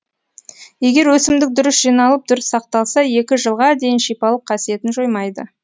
егер өсімдік дұрыс жиналып дұрыс сақталса екі жылға дейін шипалық қасиетін жоймайды